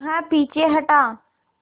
वह पीछे हटा